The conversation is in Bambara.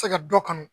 se ka dɔ kɔnɔ